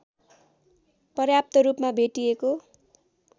पर्याप्त रूपमा भेटिएको